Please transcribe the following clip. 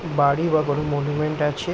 বাড়ি বা কোনো মনুমেন্ট আছে ।